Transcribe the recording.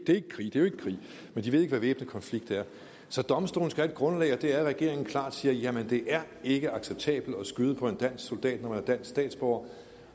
ikke krig men de ved ikke hvad væbnet konflikt er så domstolene et grundlag og det er at regeringen klart siger det er ikke acceptabelt at skyde på en dansk soldat når man er dansk statsborger